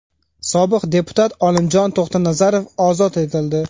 Sobiq deputat Olimjon To‘xtanazarov ozod etildi.